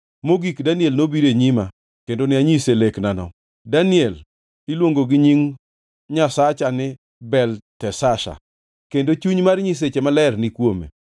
Mogik, Daniel nobiro e nyima kendo ne anyise leknano. (Daniel iluongo gi nying nyasacha ni Belteshazar, kendo chuny mar nyiseche maler ni kuome.)